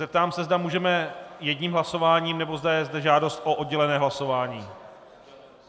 Zeptám se, zda můžeme jedním hlasováním, nebo zda je zde žádost o oddělené hlasování.